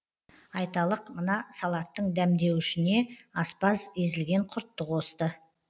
айталық мына салаттың дәмдеуішіне аспаз езілген құртты қосты